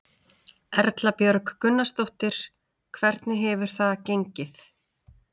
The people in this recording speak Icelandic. Erla Björg Gunnarsdóttir: Hvernig hefur það gengið?